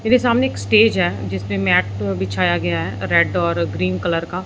मेरे सामने एक स्टेज है जिस पे मेट बिछाया गया है रेड और ग्रीन कलर का।